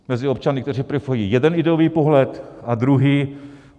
Mezi občany, kteří preferují jeden ideový pohled, a druhý.